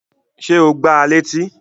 Ṣé o gbá a létí?